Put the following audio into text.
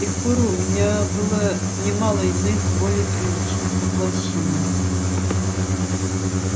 с тех пор у меня было немало иных более приличных воплощений